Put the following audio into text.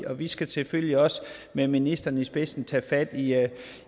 og vi skal selvfølgelig også med ministeren i spidsen tage fat